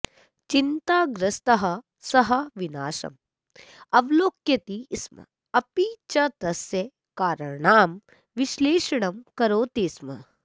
चिन्ताग्रस्तः स विनाशम् अवलोकयति स्म अपि च तस्य कारणानां विश्लेषणं करोति स्म